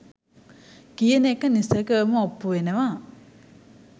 කියන එක නිසැකවම ඔප්පු වෙනවා